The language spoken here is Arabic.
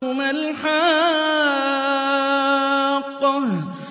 مَا الْحَاقَّةُ